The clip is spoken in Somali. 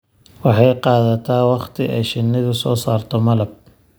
Waxay qaadataa wakhti ay shinnidu soo saarto malab.